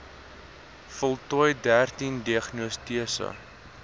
voltooi dertien diagnostiese